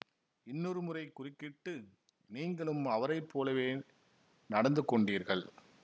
இன்னொரு முறை குறுக்கிட்டு நீங்களும் அவரை போலவே நடந்து கொண்டீர்கள்